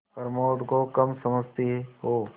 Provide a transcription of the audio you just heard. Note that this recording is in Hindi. प्रमोद को कम समझती हो